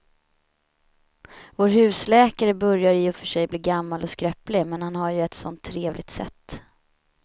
Vår husläkare börjar i och för sig bli gammal och skröplig, men han har ju ett sådant trevligt sätt!